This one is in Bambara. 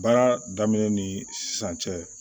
Baara daminɛ ni sisan cɛ